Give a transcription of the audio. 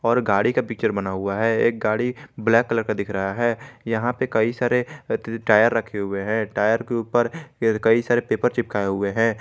और गाड़ी का पिक्चर बना हुआ है एक गाड़ी ब्लैक कलर का दिख रहा है यहां पे कई सारे टायर रखे हुए हैं टायर के ऊपर कई सारे पेपर चिपकाए हुए हैं।